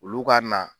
Olu ka na